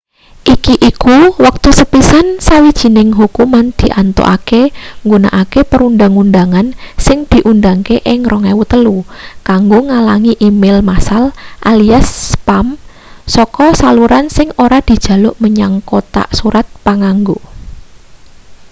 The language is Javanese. iki iku wektu sepisan sawijining hukuman diantukake nggunakake perundhang-undhangan sing diundhangke ing 2003 kanggo ngalangi e-mail massal alias spam saka saluran sing ora dijaluk menyang kothak surat panganggo